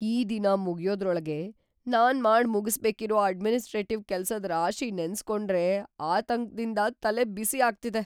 ಈ ದಿನ ಮುಗ್ಯೋದ್ರೊಳ್ಗೆ ನಾನ್ ಮಾಡ್‌ ಮುಗುಸ್ಬೇಕಿರೋ ಅಡ್ಮಿನಿಸ್ಟ್ರೇಟಿವ್ ಕೆಲ್ಸದ್ ರಾಶಿ ನೆನ್ಸ್‌ಕೊಂಡ್ರೇ ಆತಂಕ್ದಿಂದ ತಲೆಬಿಸಿ ಆಗ್ತಿದೆ.